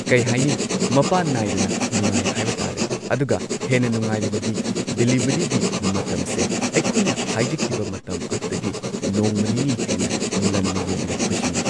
ꯀꯩ ꯍꯥꯏꯅꯤ ꯃꯄꯥꯟ ꯅꯥꯏꯗꯅ ꯅꯨꯉꯥꯏ ꯍꯥꯏꯕ ꯇꯥꯔꯦ ꯑꯗꯨꯒ ꯍꯦꯟꯅ ꯅꯨꯉꯥꯏꯔꯤꯕꯗꯤ ꯗꯤꯂꯤꯚꯔꯤꯒꯤ ꯃꯇꯝꯁꯦ ꯑꯩꯈꯣꯏꯅ ꯍꯥꯏꯖꯈꯤꯕ ꯃꯇꯝ ꯑꯗꯨꯗꯒꯤ ꯅꯣꯡꯃ ꯅꯤꯅꯤ ꯍꯦꯟꯅ ꯉꯟꯅ ꯌꯧꯕꯤꯔꯛꯄꯁꯤꯅꯤ꯫